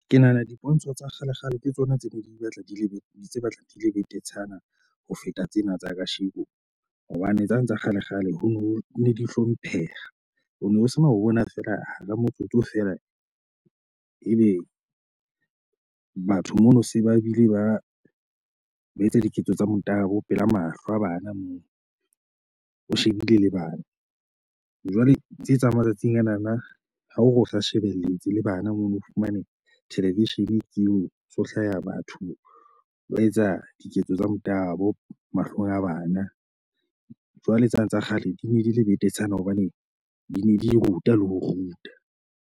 Ke nahana dipontsho tsa kgalekgale ke tsona tse ne di batla di le tse batlang di le betetshana ho feta tsena tsa kasheko hobane tsane tsa kgalekgale ho no ne di hlompheha. Ho no ho sena ho bona fela hara motsotso feela ebe batho mono se ba bile ba ba etsa diketso tsa motabo pela mahlo a bana moo, o shebile le bana. Jwale ntso etsang matsatsing anana ha o sa shebelletse le bana mono o fumane television ke eo ho so hlaya batho ba etsa diketso tsa motabo mahlong a bana. Jwale tsane tsa kgale di ne di le betetshana hobane di ne di ruta le ho ruta.